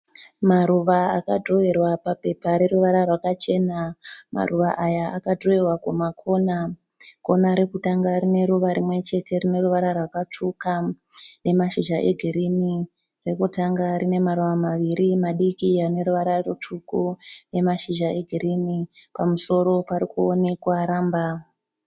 Maruva akadhirowerwa papepa reruvara rwakachena. Maruva aya akadhirowewa kukona. Kona rekutanga rineruva rimwe chete rineruva rwakatsvuka nemashizha egirini. Rekutanga rinemaruva maviri madiki aneruvara rutsvuku nemashizha egirini. Pamusoro parikuonekwa ramba.